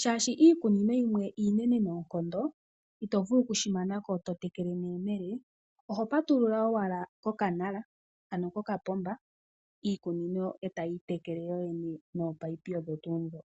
shashi iikunino yimwe iinene noonkondo itovulu okushi manako to tekele neyemele, oho patulula owala ko kapomba iikunino tayi itekele yoyene nominino odho tuu dhoka.